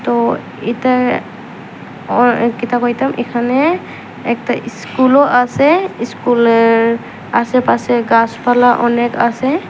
তো এটা আর কিতা কইতাম এখানে একটা ইস্কুলও আছে ইস্কুলের আশেপাশে গাছপালা অনেক আছে।